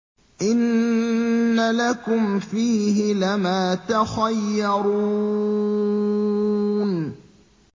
إِنَّ لَكُمْ فِيهِ لَمَا تَخَيَّرُونَ